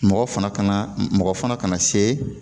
Mɔgɔ fana kana mɔgɔ fana ka na se